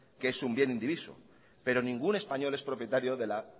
que es un bien indivisión pero ningún español es propietario de la